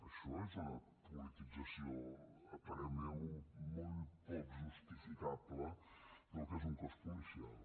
això és una politització a parer meu molt poc justificable del que és un cos policial